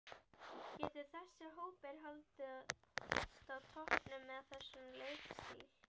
Getur þessi hópur haldist á toppnum með þessum leikstíl?